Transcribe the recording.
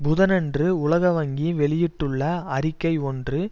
புதனன்று உலக வங்கி வெளியிட்டுள்ள அறிக்கை ஒன்று